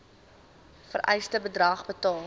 vereiste bedrag betaal